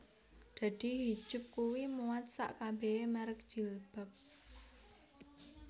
Dadi Hijup kui muat sak kabehe merk jilbab